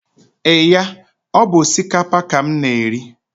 Eee ya, ọ bu osikapa ka m na-eri